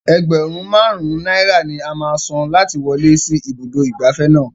Ẹgbẹ̀rún Márùn-ún náírà ni a máa san láti wọlé sí ibùdó ìgbafẹ́ náà.